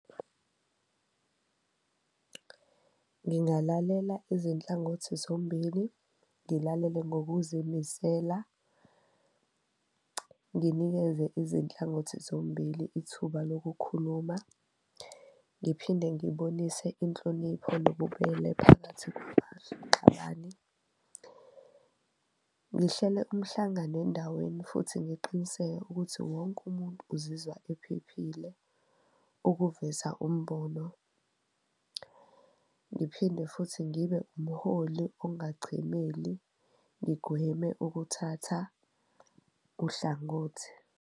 Ngingalalela izinhlangothi zombili, ngilalele ngokuzimisela, nginikeze izinhlangothi zombili ithuba lokukhuluma, ngiphinde ngibonise inhlonipho nobubele phakathi . Ngihlele umhlangano endaweni futhi ngiqiniseke ukuthi wonke umuntu uzizwa ephephile ukuveza umbono. Ngiphinde futhi ngibe umholi okungachemeli ngigweme ukuthatha uhlangothi.